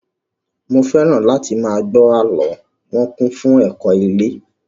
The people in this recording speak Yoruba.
Mo fẹ́ràn láti máa gbọ́ àlọ́, wọn kún fún ẹ̀kọ́ ilé